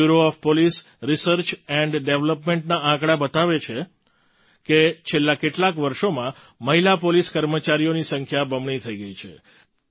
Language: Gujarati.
bureau of police research and ડેવલપમેન્ટના આંકડા બતાવે છે કે છેલ્લાં કેટલાંક વર્ષોમાં મહિલા પોલીસ કર્મચારીઓની સંખ્યા બમણી થઈ ગઈ છે